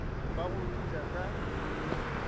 ba go di ja ka